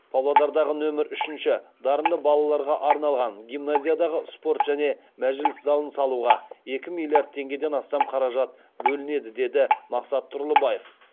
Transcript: павлодардағы нөмір үшінші дарынды балаларға арналған гимназиядағы спорт және мәжіліс залын салуға екі миллиард теңгеден астам қаражат бөлінеді деді мақсат тұрлыбаев